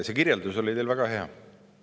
See kirjeldus oli teil väga hea.